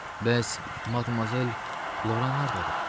Bəs Matmazel Lora hardadır?